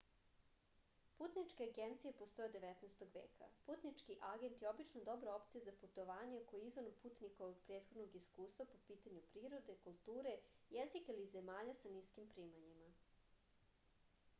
putničke agencije postoje od 19. veka putnički agent je obično dobra opcija za putovanje koje je izvan putnikovog prethodnog iskustva po pitanju prirode kulture jezika ili zemalja sa niskim primanjima